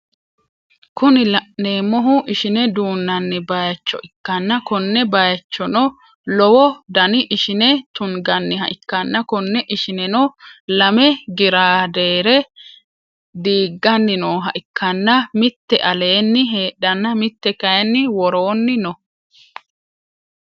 Kuni laneemmohu ishine duunnani baayiicho ikkanna konne baayiichchono lowo Dani ishine tungganiha ikkana konne ishineno lame giraadeere diiggani nooha ikkana mitte aleeni heedhana mitte kaayiini worooni no